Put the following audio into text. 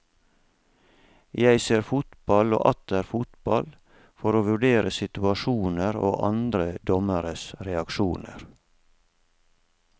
Jeg ser fotball og atter fotball for å vurdere situasjoner og andre dommeres reaksjoner.